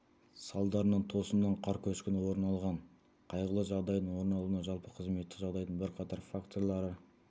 салдарынан тосыннан қар көшкіні орын алған қайғылы жағдайдың орын алуына жалпы қызметтік жағдайдың бірқатар факторлары